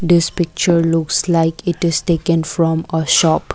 this picture looks like it is taken from a shop.